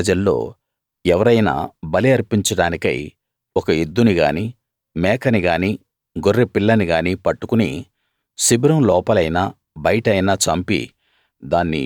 ఇశ్రాయేలు ప్రజల్లో ఎవరైనా బలి అర్పించడానికై ఒక ఎద్దుని గానీ మేకని గానీ గొర్రె పిల్లని గానీ పట్టుకుని శిబిరం లోపలైనా బయటైనా చంపి